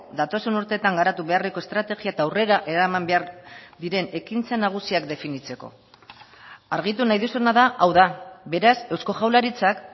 datozen urteetan garatu beharreko estrategia eta aurrera eraman behar diren ekintza nagusiak definitzeko argitu nahi duzuna da hau da beraz eusko jaurlaritzak